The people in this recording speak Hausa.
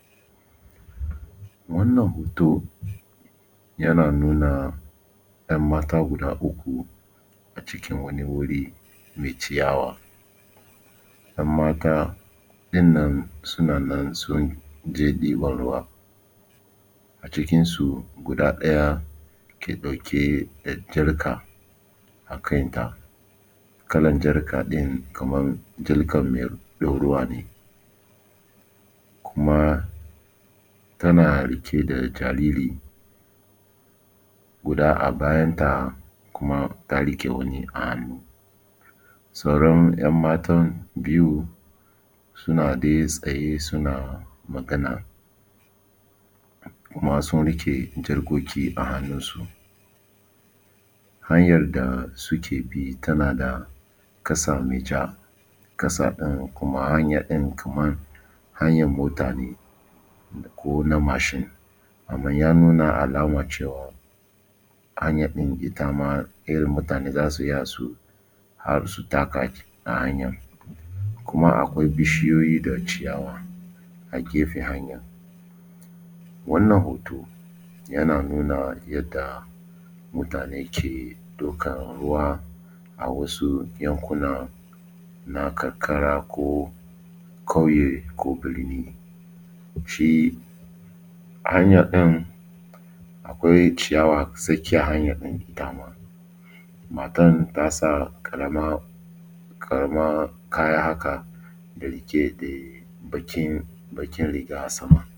Wannan hoto yana nuna ‘yan mata guda uku acikin wani wuri mai ciyawa. ‘Yan mata ɗin nan suna nan sun je ɗiban ruwa. A cikin su guda ɗaya ke ɗauke da jarka a kan ta kalar jarka ɗin kamar jalkan mai ɗorawa ne kuma tana riƙe da jariri guda a bayan ta kuma ta riƙe wani a hannu. Sauran ‘yan matan biyu a hannu suna dai tsaye suna magaa`amma sun riƙe jarkoki a hannun su. Hanyar da suke bi tana da ƙasa mai ja ƙasa ɗin kuma hanya ɗin kamar hanyar mota ne ko na mashin amman ya nuna alama cewa hanya ɗin ita ma mutane za su iya su ha su taka a hanyan kuma akwai bishiyoyi da ciyawa a gefen hanya. Wannan hoto yana nuna yadda mutane ke dokan ruwa a wasu yankuna na karkara ko ƙauye ko birni. Shi hanya ɗin akwai ciyawa a tsakiyar hanya ɗin ita ma matan ta sa ƙarama, ƙarama kaya haka da bakin riga a sama.